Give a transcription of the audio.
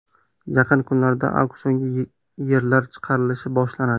Yaqin kunlarda auksionga yerlar chiqarilishi boshlanadi.